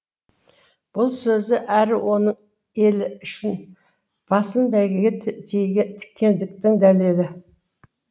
бұл сөзі әрі оның елі үшін басын бәйгеге тіккендігінің дәлелі